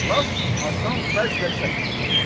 Lap asan vəzclə kəşf eləyəcəm.